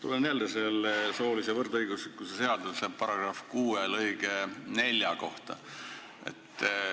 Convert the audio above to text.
Tulen jälle selle soolise võrdõiguslikkuse seaduse § 6 lõike 4 juurde.